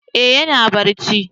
Eh ya na barci